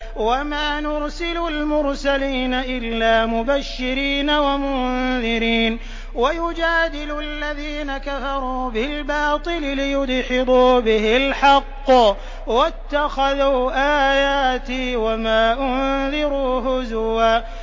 وَمَا نُرْسِلُ الْمُرْسَلِينَ إِلَّا مُبَشِّرِينَ وَمُنذِرِينَ ۚ وَيُجَادِلُ الَّذِينَ كَفَرُوا بِالْبَاطِلِ لِيُدْحِضُوا بِهِ الْحَقَّ ۖ وَاتَّخَذُوا آيَاتِي وَمَا أُنذِرُوا هُزُوًا